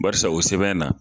Barisa o sɛbɛn na